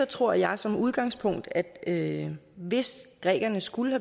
tror jeg som udgangspunkt at at hvis grækerne skulle